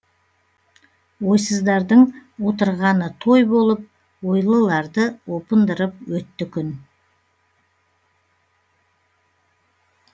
ойсыздардың отырғаны той болып ойлыларды опындырып өтті күн